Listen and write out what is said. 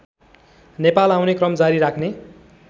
नेपाल आउने क्रम जारी राख्ने